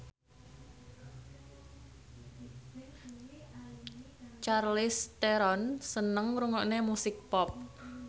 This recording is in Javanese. Charlize Theron seneng ngrungokne musik pop